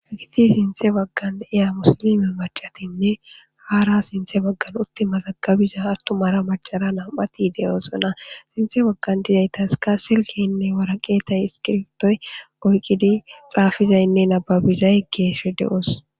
agiti sinthe baggandiya musilime macatinne haara sinthe baggan uttimazagabiza attumara macara nam7ati de7ooxona sinthe baggan dizaytaska silkeynne waraqeetay iskirtoy oyqqidi xaafizaynne nababizay geesho de7os